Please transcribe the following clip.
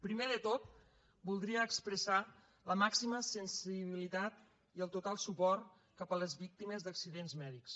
primer de tot voldria expressar la màxima sensibilitat i el total suport cap a les víctimes d’accidents mèdics